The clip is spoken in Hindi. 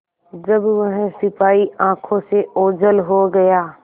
जब वह सिपाही आँखों से ओझल हो गया